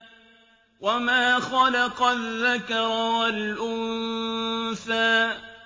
وَمَا خَلَقَ الذَّكَرَ وَالْأُنثَىٰ